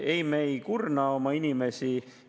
Ei, me ei kurna oma inimesi.